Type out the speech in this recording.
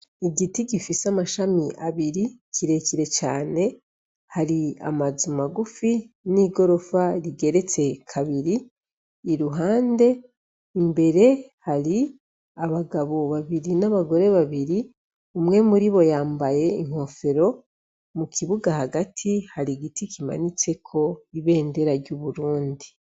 Igiti gifise amashami abiri kirekire cane hari amazu magufi n'igorofa rigeretse kabiri i ruhande imbere hari abagabo babiri n'abagore babiri umwe muri bo yambaye inkofero mu kibuga hagati hari igiti kimanitseko ibendera ry'uburundi.